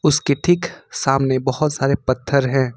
इसके ठीक सामने बहुत सारे पत्थर हैं।